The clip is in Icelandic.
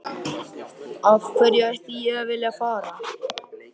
Af hverju ætti ég að vilja að fara?